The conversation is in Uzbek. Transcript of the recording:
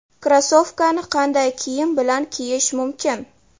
Krossovkani qanday kiyim bilan kiyish mumkin?